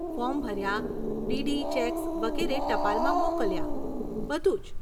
Form ભર્યા, DD cheques વગેરે ટપાલમાં મોકલ્યાં, બધું જ.